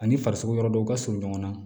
Ani farisogo yɔrɔ dɔw ka surun ɲɔgɔn na